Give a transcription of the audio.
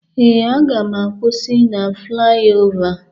Ee, aga m akwụsị na flayova